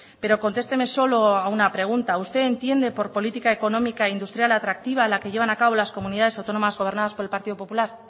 pero contesteme solo a una pregunta usted entiende por política económica industrial atractiva la que llevan a cabo las comunidades autónomas gobernadas por el partido popular